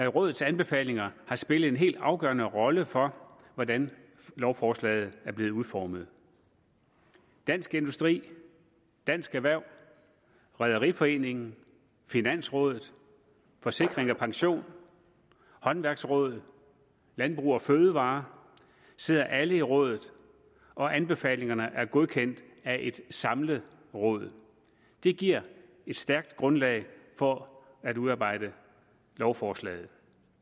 rådets anbefalinger har spillet en helt afgørende rolle for hvordan lovforslaget er blevet udformet dansk industri dansk erhverv rederiforeningen finansrådet forsikring pension håndværksrådet og landbrug fødevarer sidder alle i rådet og anbefalingerne er godkendt af et samlet råd det giver et stærkt grundlag for at udarbejde lovforslaget